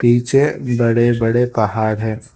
पीछे बड़े बड़े पहाड़ है।